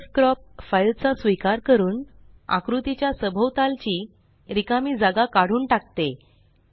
pdfcropcफाइल चा स्वीकार करून आकृतीच्या सभोवतालची रिकामी जागा काढून टाकते